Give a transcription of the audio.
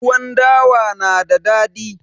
Tuwon dawa na da dadi